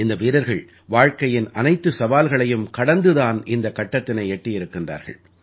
இந்த வீரர்கள் வாழ்க்கையின் அனைத்து சவால்களையும் கடந்துதான் இந்தக் கட்டத்தினை எட்டியிருக்கின்றார்கள்